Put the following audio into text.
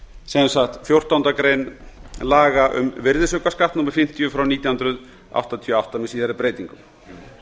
sem sagt fjórtándu grein laga um virðisaukaskatt númer fimmtíu nítján hundruð áttatíu og átta með síðari breytingum